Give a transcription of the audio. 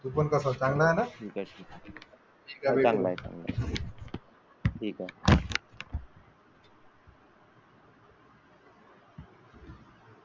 तू पण कसा आहेस? चांगला आहेस ना? चांगला आहे ठीक आहे.